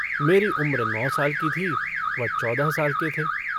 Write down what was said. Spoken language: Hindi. मेरी उम्र नौ साल की थी वह चौदह साल के थे।